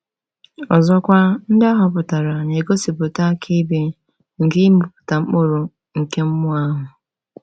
Ọzọkwa, ndị ahọpụtara na-egosipụta akaebe nke ịmịpụta mkpụrụ nke mmụọ ahụ.